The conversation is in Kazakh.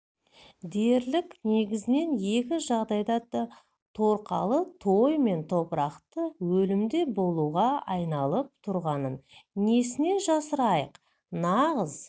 дерлік негізінен екі жағдайда торқалы той мен топырақты өлімде болуға айналып тұрғанын несіне жасырайық нағыз